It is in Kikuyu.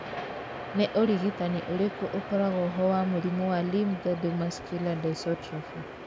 Nĩ ũrigitani ũrĩkũ ũkoragwo ho wa mũrimũ wa limb girdle muscular dystrophy?